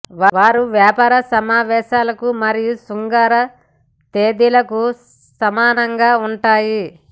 వారు వ్యాపార సమావేశాలకు మరియు శృంగార తేదీలకు సమానంగా ఉంటాయి